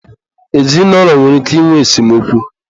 ezinụlọ nwere ike ịnwe esemokwu.